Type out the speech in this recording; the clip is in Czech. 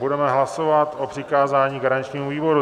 Budeme hlasovat o přikázání garančnímu výboru.